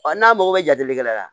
Ɔ n'a mago bɛ jate la